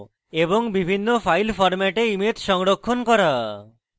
বিভিন্ন file ফরম্যাটে image সংরক্ষণ করা